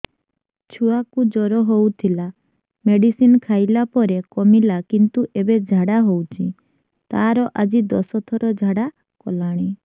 ଛୁଆ କୁ ଜର ହଉଥିଲା ମେଡିସିନ ଖାଇଲା ପରେ କମିଲା କିନ୍ତୁ ଏବେ ଝାଡା ହଉଚି ତାର ଆଜି ଦଶ ଥର ଝାଡା କଲାଣି